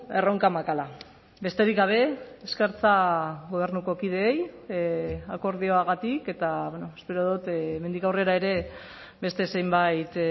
erronka makala besterik gabe eskertza gobernuko kideei akordioagatik eta espero dut hemendik aurrera ere beste zenbait